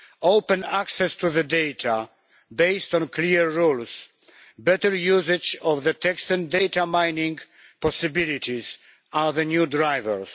Open access to data, based on clear rules, better usage of text and data mining possibilities are the new drivers.